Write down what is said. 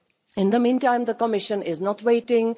In the meantime, the Commission is not waiting.